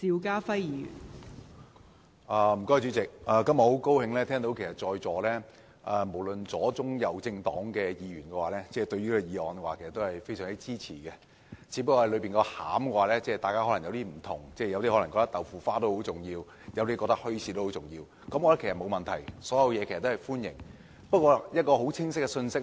代理主席，我今天很高興聽到在座無論左、中、右政黨的議員對此議案都非常支持，只是大家側重的內容有所不同，有些人可能覺得豆腐花很重要，有些則覺得墟市很重要，我覺得都沒有問題，所有意見都是歡迎的。